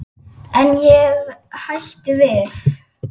En ég hætti við.